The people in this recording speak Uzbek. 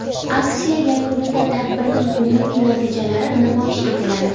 Aksiya yakunida tadbirning umumiy natijalari namoyish etiladi.